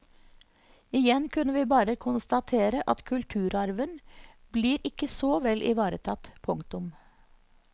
Igjen kunne vi bare konstatere at kulturarven blir ikke så vel ivaretatt. punktum